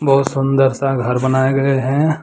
बहुत सुन्दर सा घर बनाया गए हैं।